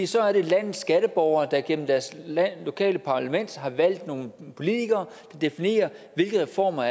så er det landets skatteborgere der igennem deres lokale parlament har valgt nogle politikere der definerer hvilke reformer